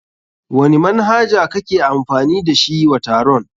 Wani manhaja kake amfani da shi wa taron?